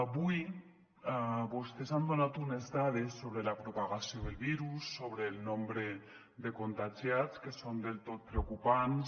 avui vostès han donat unes dades sobre la propagació del virus sobre el nombre de contagiats que són del tot preocupants